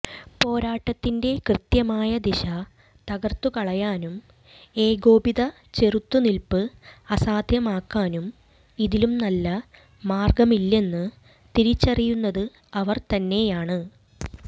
പോരാട്ടത്തിന്റെ കൃത്യമായ ദിശ തകർത്തുകളയാനും ഏകോപിത ചെറുത്തുനിൽപ്പ് അസാധ്യമാക്കാനും ഇതിലും നല്ല മാർഗമില്ലെന്ന് തിരിച്ചറിയുന്നത് അവർ തന്നെയാണ്